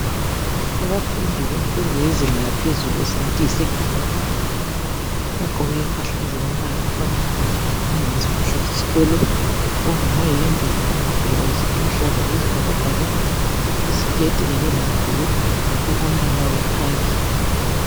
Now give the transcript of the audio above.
Abafundi bemfundo yezinga laphezulu esingathi yi Secondary bagqoke impahla ezombala ofananayo angathi yimpahla zesikolo ,okunga mahembe kumbe lamabhulawuzi aluhlaza okwesibhakabhaka .Iziketi kanye lamabhulugwe okombala owekhakhi.